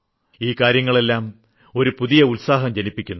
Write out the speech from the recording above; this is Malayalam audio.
ഈ കാര്യങ്ങളെല്ലാം ഒരു പുതിയ ഉത്സാഹം ജനിപ്പിക്കുന്നു